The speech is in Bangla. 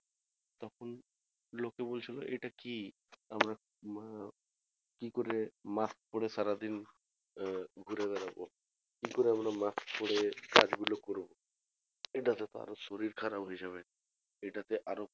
লোকে বলছিলো এটা কি কি করে mask পরে সারাদিন আহ ঘুরে বেড়াবো কি করে আমরা mask পরে কাজ গুলো করবো এটা তে তো আরো শরীর খারাপ হয়ে যাবে এটা তে আরো